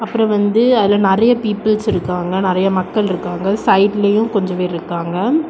அப்புறம் வந்து அதுல நெறைய பீப்பிள்ஸ் இருக்காங்க நிறைய மக்கள் இருக்காங்க சைடுலையும் கொஞ்சம் பேர் இருக்காங்க.